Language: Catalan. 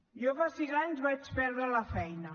jo fa sis anys vaig perdre la feina